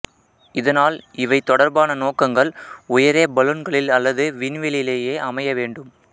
இதனால் இவை தொடர்பான நோக்ககங்கள் உயரே பலூன்களில் அல்லது விண்வெளியிலேயே அமைய வேண்டும்